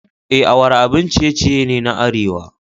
E, awara abun ciye-ciye ne na arewa.